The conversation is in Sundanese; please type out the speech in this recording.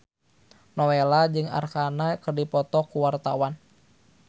Nowela jeung Arkarna keur dipoto ku wartawan